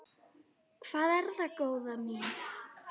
Hvað er það, góða mín?